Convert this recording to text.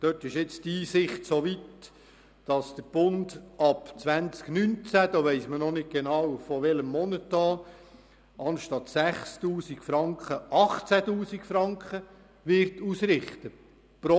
Dort ist die Einsicht soweit fortgeschritten, dass der Bund ab 2019 – man weiss noch nicht genau ab welchem Monat – anstatt 6000 Franken 18 000 Franken pro UMA ausrichten wird.